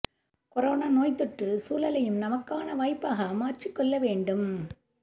corona நோய்த்தொற்று சூழலையும் நமக்கான வாய்ப்பாக மாற்றிக் கொள்ள வேண்டும்